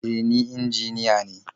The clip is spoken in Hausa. E, ni injiniya ne.